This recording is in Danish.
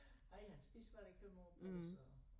Nej han spiser hvad der kommer på æ bord så